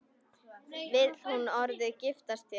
Vill hún orðið giftast þér?